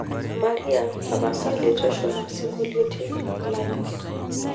maria tapasali tushuma singoliotin lanyor